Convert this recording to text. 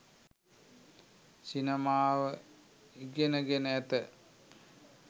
සිනමාව ඉගෙන ගෙන ඇත